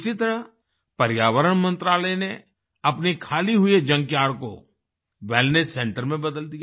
इसी तरह पर्यावरण मंत्रालय ने अपने खाली हुए जंकयार्ड को वेलनेस सेंटर में बदल दिया